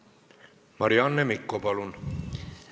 Marianne Mikko, palun!